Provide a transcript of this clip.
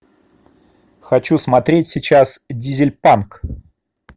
хочу смотреть сейчас дизельпанк